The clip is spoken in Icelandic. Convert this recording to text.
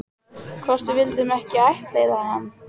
Hvort við vildum ekki ættleiða hana?